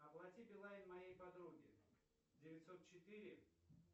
оплати билайн моей подруге девятьсот четыре